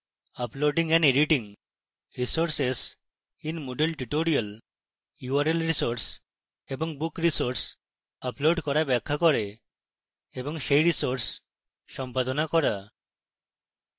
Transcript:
uploading and editing resources in moodle tutorial url resources এবং book resources upload করা ব্যাখ্যা করে